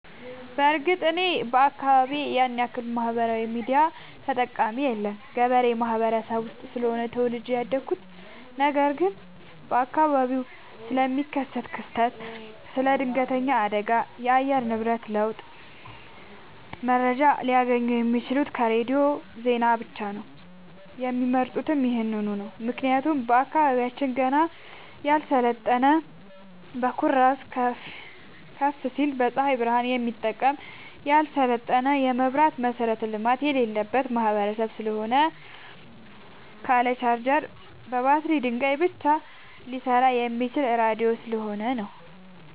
በርግጥ እኔ አካባቢ ያንያክል ማህበራዊ ሚዲያ ተጠቀሚ የለም ገበሬ ማህበረሰብ ውስጥ ስለሆነ ተወልጄ ያደኩት ነገር ግን በአካባቢው ስለሚከሰት ክስተት ስለ ድነገተኛ አደጋዎች የአየር ንብረት ለውጥ መረጃ ሊያገኙ የሚችሉት ከሬዲዮ ዜና ብቻ ነው የሚመርጡትም ይህንኑ ነው ምክንያቱም አካባቢያችን ገና ያልሰለጠነ በኩራዝ ከፋሲል በፀሀይ ብረሃን የሚጠቀም ያልሰለጠነ የመብራት መሠረተ ልማት የሌለበት ማህበረሰብ ስለሆነ ካለ ቻርጀር በባትሪ ድንጋይ ብቻ ሊሰራ የሚችለው ራዲዮ ስለሆነ ነው።